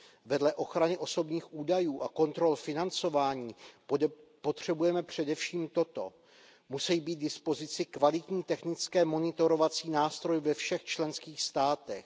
Vedle ochrany osobních údajů a kontrol financování potřebujeme především toto musí být k dispozici kvalitní technické monitorovací nástroje ve všech členských státech.